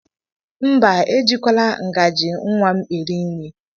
Mba, ejikwala ngaji nwa m eri nri.